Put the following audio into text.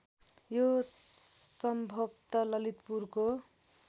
यो सम्भवत ललितपुरको